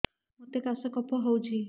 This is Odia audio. ମୋତେ କାଶ କଫ ହଉଚି